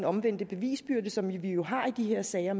omvendt bevisbyrde som vi jo har i de her sager